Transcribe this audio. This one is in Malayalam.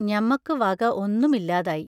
ഞമ്മക്കു വക ഒന്നും ഇല്ലാതായി.